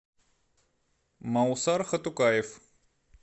маусар хатукаев